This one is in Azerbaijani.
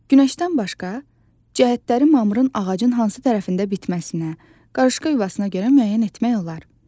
Günəşdən başqa cəhətləri mamırın ağacın hansı tərəfində bitməsinə, qarışqa yuvasına görə müəyyən etmək olar.